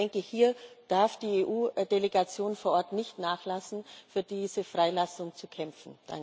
Ich denke, hier darf die EU Delegation vor Ort nicht nachlassen, für diese Freilassung zu kämpfen.